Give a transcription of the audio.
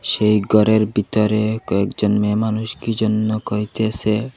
সেই ঘরের ভিতরে কয়েকজন মেয়ে মানুষ কি জন্য কইতেসে।